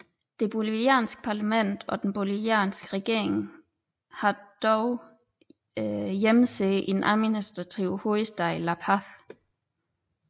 Det bolivianske parlament og den bolivianske regering har dog hjemsæde i den administrative hovedstad La Paz